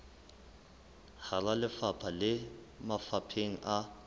hara lefapha le mafapheng a